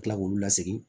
Kila k'olu lasegin